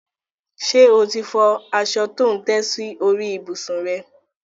Ṣe o ti fọ aṣọ tí ò ń tẹ́ sórí ìbùsùn rẹ?